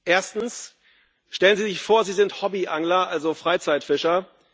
Erstens Stellen Sie sich vor, Sie sind Hobbyangler also Freizeitfischer.